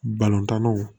Balontannaw